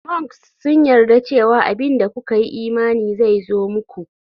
Mnks sun yarda cewa abin da kuka yi imani zai zo muku.